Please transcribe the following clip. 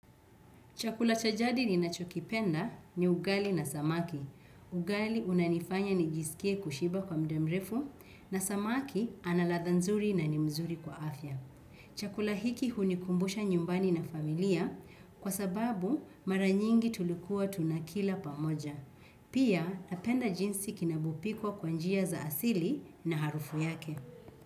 Chakula cha jadi ninachokipenda ni ugali na samaki. Ugali unanifanya nijisikie kushiba kwa muda mrefu na samaki ana ladha nzuri na ni mzuri kwa afya. Chakula hiki hunikumbusha nyumbani na familia kwa sababu mara nyingi tulikuwa tunakila pamoja. Pia napenda jinsi kinavyopikwa kwa njia za asili na harufu yake.